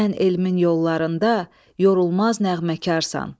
Sən elmin yollarında yorulmaz nəğməksən.